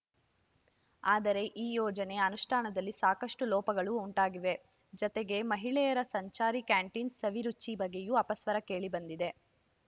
ಆದರೆ ಈ ಯೋಜನೆ ಅನುಷ್ಠಾನದಲ್ಲಿ ಸಾಕಷ್ಟುಲೋಪಗಳು ಉಂಟಾಗಿವೆ ಜತೆಗೆ ಮಹಿಳೆಯರ ಸಂಚಾರಿ ಕ್ಯಾಂಟೀನ್‌ ಸವಿ ರುಚಿ ಬಗ್ಗೆಯೂ ಅಪಸ್ವರ ಕೇಳಿ ಬಂದಿದೆ